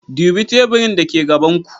Dubi teburin dake gaban ku.